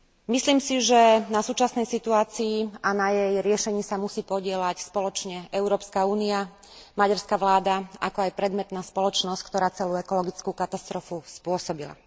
Myslím si, že na súčasnej situácii a na jej riešení sa musí podieľať spoločne Európska únia, maďarská vláda, ako aj predmetná spoločnosť, ktorá celú ekologickú katastrofu spôsobila.